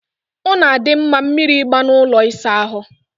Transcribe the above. Ọ na-adị mma mmiri ịgba na ụlọ ịsa ahụ.